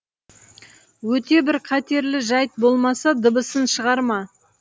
өте бір қатерлі жайт болмаса дыбысын шығарма